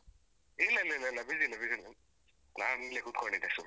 ಇಲ್ಲ ಇಲ್ಲ ಇಲ್ಲ busy ಯಿಲ್ಲ busy ಯಿಲ್ಲ, ನಾನಿಲ್ಲಿ ಕುತ್ಕೊಂಡಿದ್ದೆ ಸುಮ್ನೆ.